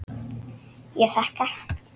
Ég þakka.